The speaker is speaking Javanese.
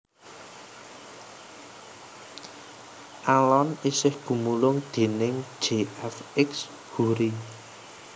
Alun isih gumulung déning J F X Hoery